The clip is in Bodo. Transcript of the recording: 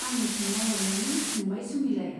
आंनिथिं नाइरनानै सोंबाय सुमिलाया।